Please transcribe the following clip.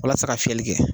Walasa ka fiyɛli kɛ